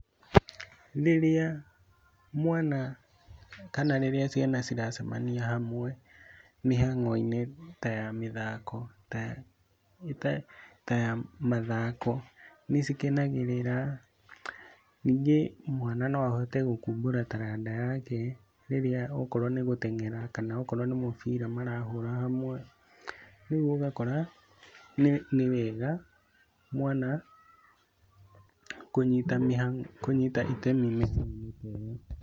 Rĩrĩa mwana kana rĩrĩa ciana ciracemania hamwe mĩhang'o-inĩ ta ya mathako nĩ cikenagĩrĩrĩra. Ningĩ mwana no ahote gũkumbũra taranda yake rĩrĩa okorwo ni gũtenyera kana nĩ mũbira marahũra hamwe, rĩu ũgakora, ni wega mwana kũnyita itemi mihang'oinĩ ta ĩyo.